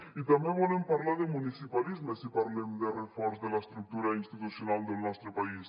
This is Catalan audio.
i també volem parlar de municipalisme si parlem de reforç de l’estructura institucional del nostre país